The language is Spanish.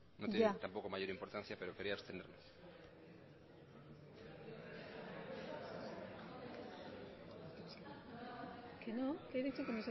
no tiene mayor importancia pero quería abstenerme que no que he dicho que